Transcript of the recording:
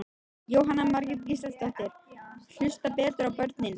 Jóhanna Margrét Gísladóttir: Hlusta betur á börnin?